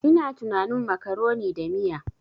Ina tunanin macaroni da miya.